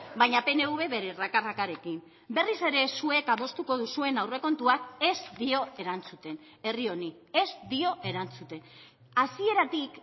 baina pnv bere raka rakarekin berriz ere zuek adostuko duzuen aurrekontuak ez dio erantzuten herri honi ez dio erantzuten hasieratik